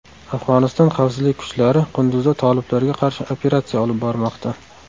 Afg‘oniston xavfsizlik kuchlari Qunduzda toliblarga qarshi operatsiya olib bormoqda.